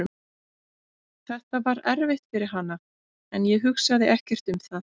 Þetta var erfitt fyrir hana en ég hugsaði ekkert um það.